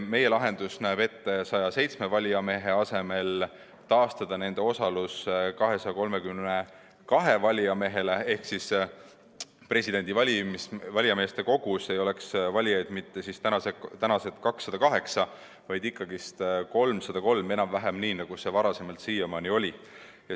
Meie lahendus näeb ette 107 valijamehe asemel taastada osalus 232 valijamehele ehk presidendi valijameeste kogus ei oleks valijaid mitte tänased 208, vaid ikkagi 333, enam-vähem nii, nagu see siiamaani oli.